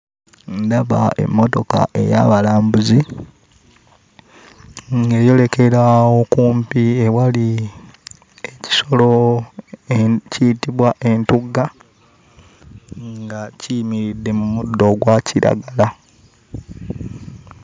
Ndaba emmotoka ey'abalambuzi ng'eyolekera okumpi ewali ekisolo ekiyitibwa entugga nga kiyimiridde mu muddo ogwa kiragala.